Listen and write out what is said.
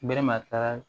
Bere ma taa